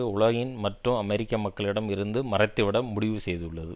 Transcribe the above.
உலகின் மற்றும் அமெரிக்க மக்களிடம் இருந்து மறைத்து விட முடிவு செய்துள்ளது